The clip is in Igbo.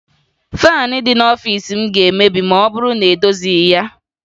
Faanị dị n'ọfiisi m ga-emebi ma ọ bụrụ na edozighi ya